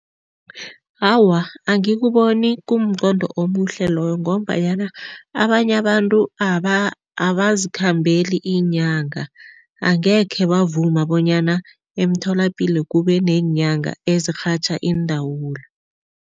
Awa, angikuboni kumqondo omuhle loyo ngombanyana abanye abantu abazikhambeli iinyanga. Angekhe bavuma bonyana emtholapilo kubeneenyanga ezirhatjha iindawula.